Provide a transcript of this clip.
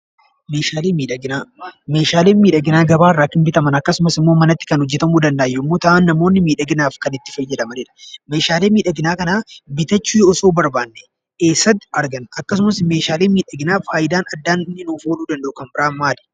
Meeshaalee miidhaginaa: meeshaaleen miidhaginaa gabaa irraa bitaaman akkasumas, manatti hojeeta.u Kan danda'an yommuu ta'an, namoonni miidhaginaaf Kan itti faayyadamanidha. meeshaalee miidhaginaa kana bitaachuu osoo barbaanne eessatti arganna? Akkasumas meeshaaleen miidhaginaa faayidaan addaa inni nuuf ooluu danda'u Kan biraan maali?